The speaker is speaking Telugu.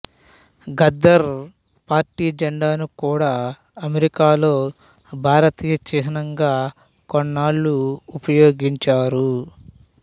గదర్ పార్టీ జండాను కూడా అమెరికాలో భారతీయ చిహ్నంగా కొన్నాళ్ళు ఉపయోగించారు